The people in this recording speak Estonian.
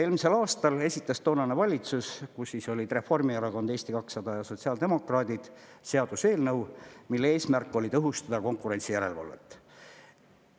Elmisel aastal esitas toonane valitsus, kus olid Reformierakond, Eesti 200 ja sotsiaaldemokraadid, seaduseelnõu, mille eesmärk oli tõhustada konkurentsijärelevalvet.